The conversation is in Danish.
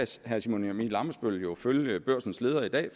herre simon emil ammitzbøll jo følge børsens leder i dag